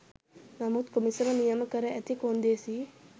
නමුත් කොමිසම නියම කර ඇති කොන්දේසි